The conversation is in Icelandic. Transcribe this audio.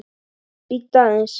Bíddu aðeins